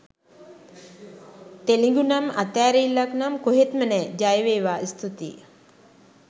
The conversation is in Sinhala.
තෙලිඟුනම් අතෑරිල්ලක්නම් කොහෙත්ම නෑ! ජයවේවා! ස්තූතියි!